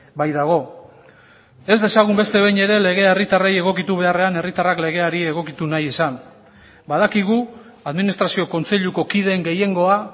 baitago ez dezagun beste behin ere legea herritarrei egokitu beharrean herritarrak legeari egokitu nahi izan badakigu administrazio kontseiluko kideen gehiengoa